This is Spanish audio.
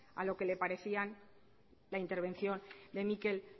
a lo que le parecía la intervención de mikel